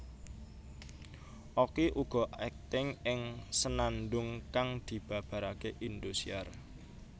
Okky uga akting ing Senandung kang dibabarake Indosiar